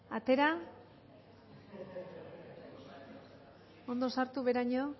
atera ondo sartu beheraino